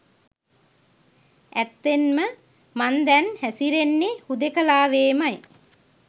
ඇත්තෙන්ම මං දැන් හැසිරෙන්නේ හුදෙකලාවේමයි.